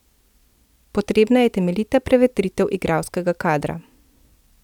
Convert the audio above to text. Potrebna je temeljita prevetritev igralskega kadra.